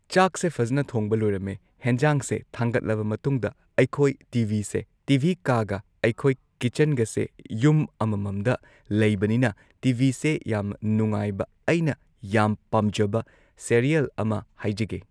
ꯆꯥꯛꯁꯦ ꯐꯖꯅ ꯊꯣꯡꯕ ꯂꯣꯏꯔꯝꯃꯦ ꯍꯦꯟꯖꯥꯡꯁꯦ ꯊꯥꯡꯒꯠꯂꯕ ꯃꯇꯨꯡꯗ ꯑꯩꯈꯣꯏ ꯇꯤꯚꯤꯁꯦ ꯇꯤ ꯚꯤ ꯀꯥꯒ ꯑꯩꯈꯣꯏ ꯀꯤꯆꯟꯒꯁꯦ ꯌꯨꯝ ꯑꯃꯃꯝꯗ ꯂꯩꯕꯅꯤꯅ ꯇꯤ ꯚꯤꯁꯦ ꯌꯥꯝ ꯅꯨꯡꯉꯥꯏꯕ ꯑꯩꯅ ꯌꯥꯝ ꯄꯥꯝꯖꯕ ꯁꯦꯔꯤꯌꯦꯜ ꯑꯃ ꯍꯥꯏꯖꯒꯦ꯫